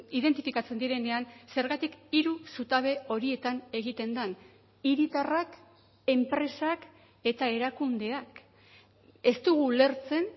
identifikatzen direnean zergatik hiru zutabe horietan egiten den hiritarrak enpresak eta erakundeak ez dugu ulertzen